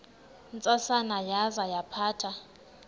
ntsasana yaza yaphatha